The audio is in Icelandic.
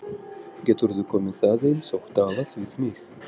GETURÐU KOMIÐ AÐEINS OG TALAÐ VIÐ MIG!